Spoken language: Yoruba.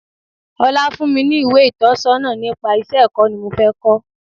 21. Ọlá fún mi ní ìwé ìtọ̀sọ́nà nípa iṣẹ́ ẹ̀kọ́ ni mo fé ko.